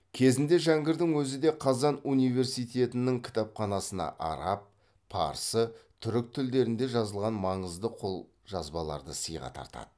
кезінде жәңгірдің өзі де қазан университетінің кітапқанасына араб парсы түркі тілдерінде жазылған маңызды қолжазбаларды сыйға тартады